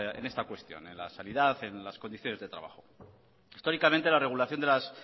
en esta cuestión en la sanidad y en las condiciones de trabajo históricamente la regulación de las